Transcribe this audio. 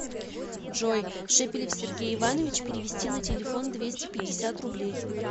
джой шепелев сергей иванович перевести на телефон двести пятьдесят рублей